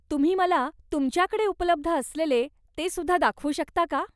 तुम्ही मला तुमच्याकडे उपलब्ध असलेले ते सुद्धा दाखवू शकता का?